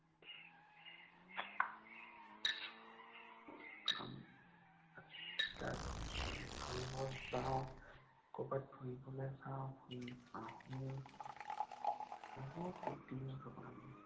তাৰপিছত ফুৰিব যাওঁ। কৰবাত ফুৰিবলৈ যাওঁ। ফুৰি আঁহো। বহুত ফুৰ্তি কৰোঁ আমি।